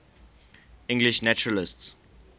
english naturalists